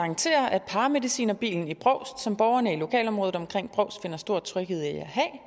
garantere at paramedicinerbilen i brovst som borgerne i lokalområdet omkring brovst finder stor tryghed i at